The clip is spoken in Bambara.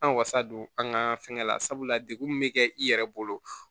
An wasa don an ka fɛnkɛ la sabula dekun min be kɛ i yɛrɛ bolo